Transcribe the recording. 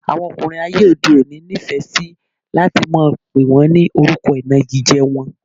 Àwọn ọkùnrin ayé òde òní nifẹ si láti máa pè wọn ní orúkọ inagije wọ́n